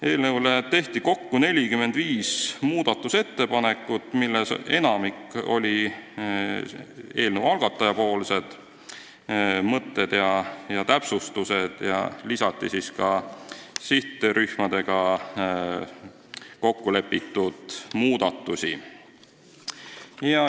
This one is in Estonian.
Eelnõu muutmiseks tehti kokku 45 ettepanekut, millest enamik on eelnõu algataja esitatud, aga lisati ka sihttöörühmadega kokku lepitud muudatusi.